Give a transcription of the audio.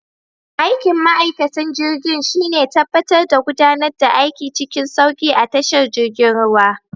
Aikin ma'aikatan jirgin shine tabbatar da gudanar da aiki cikin sauki a tashar girjin ruwa.